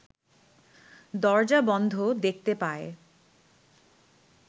দরজা বন্ধ দেখতে পায়